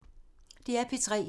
DR P3